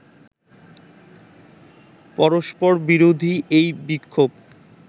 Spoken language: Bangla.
পরস্পরবিরোধী এই বিক্ষোভ